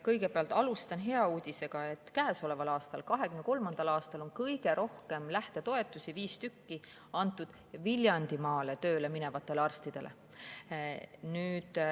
Kõigepealt alustan hea uudisega: käesoleval aastal, 2023. aastal, on kõige rohkem lähtetoetusi, viis tükki, antud Viljandimaale tööle minevatele arstidele.